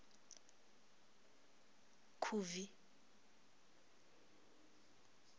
khubvi